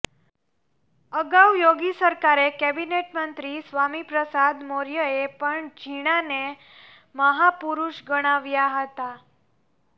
અગાઉ યોગી સરકારે કેબિનેટ મંત્રી સ્વામી પ્રસાદ મૌર્યએ પણ જીણાને મહાપુરૂષ ગણાવ્યા હતા